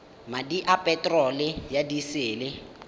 madi a peterolo ya disele